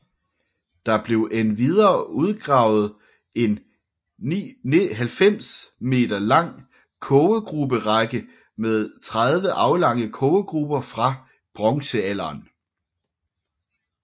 Der blev endvidere udgravet en 90m lang kogegruberække med 30 aflange kogegruber fra bronzealderen